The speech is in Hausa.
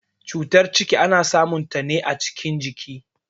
Tsutar ciki ana samun ta ne a cikin ciki.